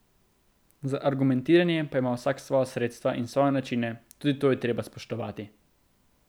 Za argumentiranje pa ima vsak svoja sredstva in svoje načine, tudi to je treba spoštovati.